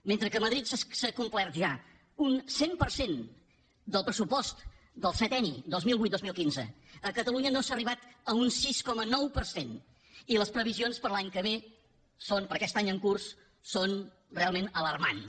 mentre que a madrid s’ha complert ja un cent per cent del pressupost del septenni dos mil vuit dos mil quinze a catalunya no s’ha arribat a un sis coma nou per cent i les previsions per a l’any que ve per a aquest any en curs són realment alarmants